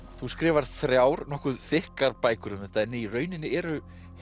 þú skrifar þrjár nokkuð þykkar bækur um þetta en í rauninni eru